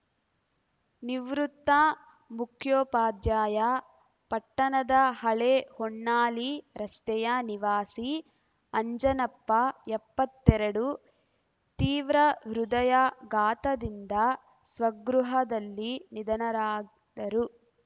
ನಿವೃತ್ತ ಮುಖ್ಯೋಪಾಧ್ಯಾಯ ಪಟ್ಟಣದ ಹಳೆ ಹೊನ್ನಾಳಿ ರಸ್ತೆಯ ನಿವಾಸಿ ಅಂಜನಪ್ಪ ಎಪ್ಪತ್ತೆರಡು ತೀವ್ರ ಹೃದಯಾಘಾತದಿಂದ ಸ್ವಗೃಹದಲ್ಲಿ ನಿಧನರಾದರು